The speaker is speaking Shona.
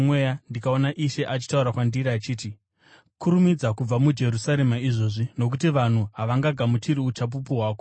ndikaona Ishe achitaura kwandiri achiti, ‘Kurumidza kubva muJerusarema izvozvi, nokuti vanhu havangagamuchiri uchapupu hwako.’